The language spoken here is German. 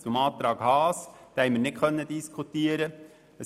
Zum Antrag Haas: Diesen haben wir nicht diskutieren können.